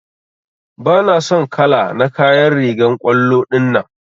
Bana son kala na kayan rigan kwallo dinnan.